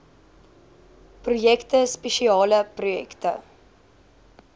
projekte spesiale projekte